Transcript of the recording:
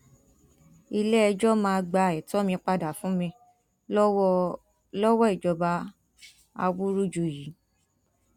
iléẹjọ́ máa gba ẹtọ mi padà fún mi lọwọ lọwọ ìjọba awúrúju yìí